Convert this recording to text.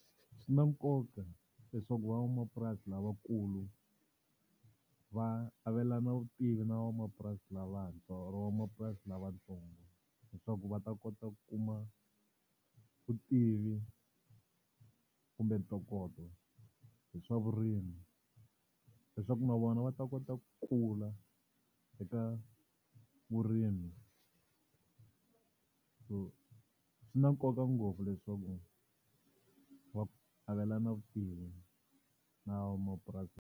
Swi na nkoka leswaku van'wamapurasi lavakulu va avelana vutivi na van'wamapurasi lavantshwa or-o van'wamapurasi lavatsongo. Leswaku va ta kota ku kuma vutivi kumbe ntokoto hi swa vurimi, leswaku na vona va ta kota ku kula eka vurimi. So swi na nkoka ngopfu leswaku va avelana vutivi na van'wamapurasi.